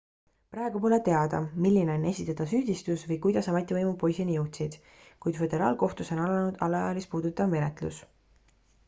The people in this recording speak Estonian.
praegu pole teada milline on esitatav süüdistus või kuidas ametivõimud poisini jõudsid kuid föderaalkohtus on alanud alaealist puudutav menetlus